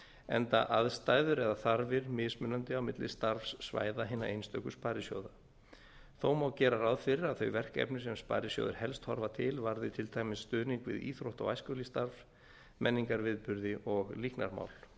enda aðstæður eða þarfir mismunandi á milli starfssvæða hinna einstöku sparisjóða þó má gera ráð fyrir að þau verkefni sem sparisjóðir helst horfa til varði til dæmis stuðning við íþrótta og æskulýðsstarf menningarviðburði og líknarmál